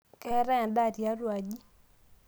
keetae endaa tiatua aji